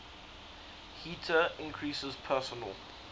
heater increases personal